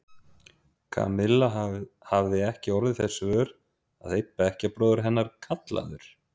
Kamilla hafði ekki orðið þess vör að einn bekkjarbróðir hennar, kallaður